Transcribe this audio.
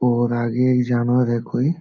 और आगे एक जानवर है कोई ।